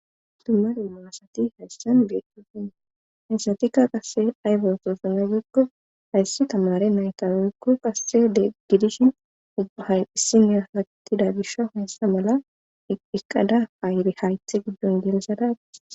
Dummaru maasati hayssan beetofin hayssatikka qasse aybetoosana gigko hayssi tamare nayta weykko qasse de gidishin ubahayn issiniya hatida gisha hoyessa mala eqqada paayire haythe giddon geelzadatti.